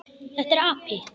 Þetta er api.